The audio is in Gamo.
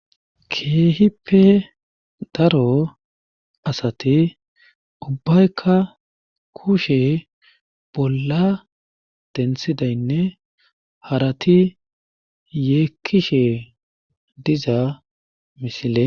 Keehippe daro asati ubaykka kushe bolla denththidaynne harati yeekishe diza misile